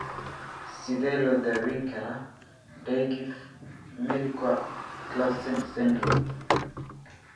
Sidee loo daweyn karaa Dyggve Melchior Clausen syndrome?